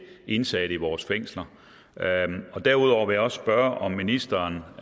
indsatte i vores fængsler derudover vil jeg også spørge om ministeren